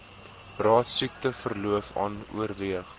raad siekteverlof oorweeg